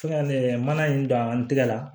Fo ka mana in don an tɛgɛ la